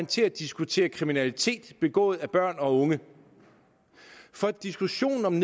til at diskutere kriminalitet begået af børn og unge for diskussionen om